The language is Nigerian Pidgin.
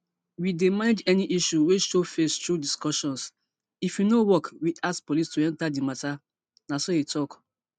we dey manage any issues wey show face through discussions if e no work we ask police to enter di matter na so e tok